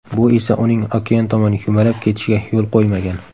Bu esa uning okean tomon yumalab ketishiga yo‘l qo‘ymagan.